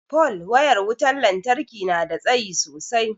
pole wayar wutar lantarki nada tsayi sosai